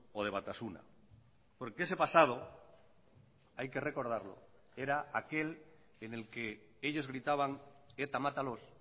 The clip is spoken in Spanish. o de batasuna porque ese pasado hay que recordarlo era aquel en el que ellos gritaban eta matalos